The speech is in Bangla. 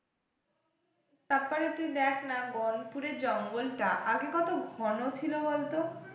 তারপরে তুই দেখ না গনপুরের জঙ্গল টা আগে কত ঘন ছিল বলতো।